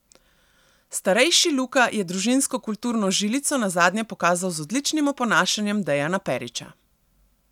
Starejši Luka je družinsko kulturno žilico nazadnje pokazal z odličnim oponašanjem Dejana Perića.